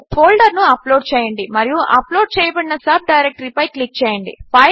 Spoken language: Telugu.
ఫోల్డరును అప్లోడ్ చేయండి మరియు అప్లోడ్ చేయబడిన సబ్ డైరెక్టరీ పై క్లిక్ చేయండి